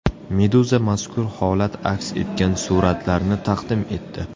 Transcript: Meduza mazkur holat aks etgan suratlarni taqdim etdi .